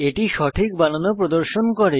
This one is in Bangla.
এটি সঠিক বানান ও প্রদর্শন করে